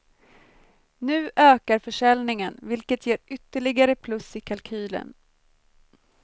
Nu ökar försäljningen, vilket ger ytterligare plus i kalkylen.